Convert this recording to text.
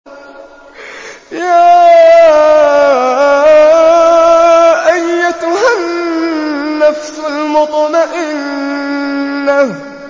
يَا أَيَّتُهَا النَّفْسُ الْمُطْمَئِنَّةُ